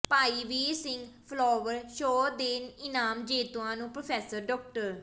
ਭਾਈ Vir Singh flower show ਦੇ ਇਨਾਮ ਜੇਤੂਆਂ ਨੂੰ ਪ੍ਰੋਫੈਸਰ ਡਾ